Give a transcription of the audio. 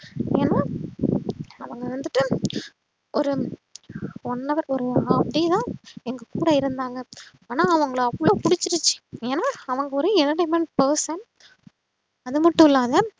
ஏன்னா அவங்க வந்துட்டு ஒரு one hour வருவாங்க half day தா எங்க கூட இருந்தாங்க ஆனா அவங்கள அவ்ளோ புடுச்சுருச்சு ஏன்னா அவங்க ஒரு person அதுமட்டுஅல்லாத